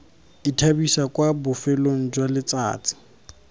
ithabisa kwa bofelong jwa letsatsi